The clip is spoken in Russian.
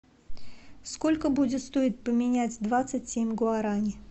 сколько будет стоить поменять двадцать семь гуарани